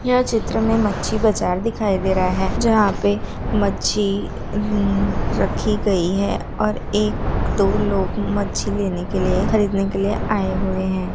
यह चित्र में मच्छी बाजार दिखाई दे रहा है जहां पे मच्छी रखी गई है और एक दो लोग मच्छी लेने के लिए खरीदने के लिए आए हुए हैं।